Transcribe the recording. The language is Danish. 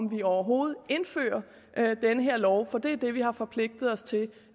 vi overhovedet indfører den her lov for det er det vi har forpligtet os til